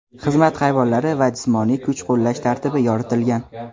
xizmat hayvonlari va jismoniy kuch qo‘llash tartibi yoritilgan.